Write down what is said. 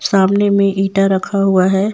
सामने में इंटा रखा हुआ है।